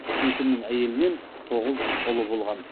есімнің әйелінен тоғыз ұлы болған